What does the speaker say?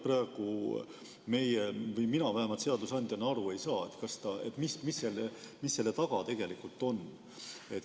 Praegu meie või vähemalt mina seadusandjana ei saa aru, mis selle taga tegelikult on.